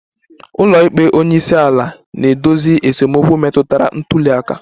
Ụlọikpe onye isi ala na-edozi esemokwu metụtara ntuli aka